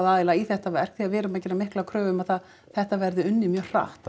aðila í þetta verk því við erum að gera mikla kröfu um að það þetta verði unnið mjög hratt